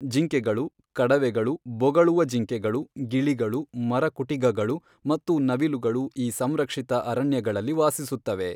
ಜಿಂಕೆಗಳು, ಕಡವೆಗಳು, ಬೊಗಳುವ ಜಿಂಕೆಗಳು, ಗಿಳಿಗಳು, ಮರಕುಟಿಗಗಳು ಮತ್ತು ನವಿಲುಗಳು ಈ ಸಂರಕ್ಷಿತ ಅರಣ್ಯಗಳಲ್ಲಿ ವಾಸಿಸುತ್ತವೆ.